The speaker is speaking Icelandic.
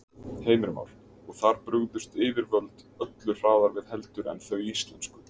Heimir Már: Og þar brugðust yfirvöld öllu hraðar við heldur en þau íslensku?